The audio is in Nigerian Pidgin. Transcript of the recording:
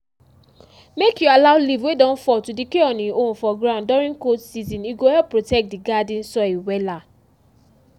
make you allow leaf wey don fall to decay on e own for ground during cold season e go help protect di garden soil wella